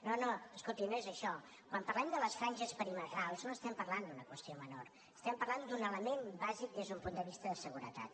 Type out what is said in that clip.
no no escolti no és això quan parlem de les franges perimetrals no estem parlant d’una qüestió menor estem parlant d’un element bàsic des d’un punt de vista de seguretat